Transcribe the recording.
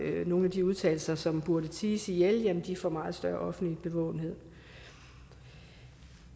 nogle af de udtalelser som bude ties ihjel få meget større offentlig bevågenhed